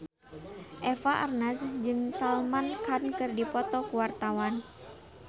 Eva Arnaz jeung Salman Khan keur dipoto ku wartawan